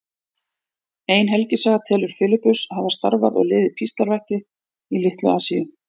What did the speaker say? Ein helgisaga telur Filippus hafa starfað og liðið píslarvætti í Litlu-Asíu.